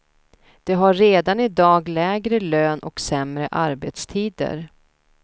De har redan i dag lägre lön och sämre arbetstider.